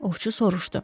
Ovçu soruşdu.